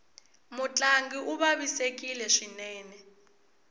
mutlangi u vavisekile swinene